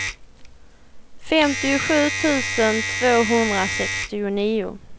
femtiosju tusen tvåhundrasextionio